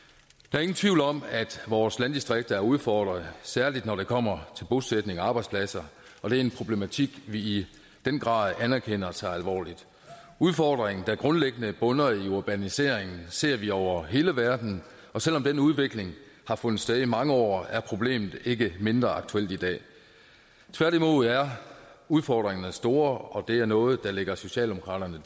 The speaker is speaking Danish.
er ingen tvivl om at vores landdistrikter er udfordret især når det kommer til bosætning og arbejdspladser og det er en problematik vi i den grad anerkender og tager alvorligt udfordringen der grundlæggende bunder i urbaniseringen ser vi over hele verden og selv om den udvikling har fundet sted i mange år er problemet ikke mindre aktuelt i dag tværtimod udfordringerne er store og det er noget der ligger socialdemokraterne